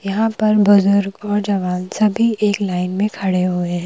यहां पर बुजुर्ग और जवान सभी एक लाइन में खड़े हुए है।